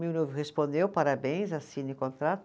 Meu noivo respondeu, parabéns, assine o contrato.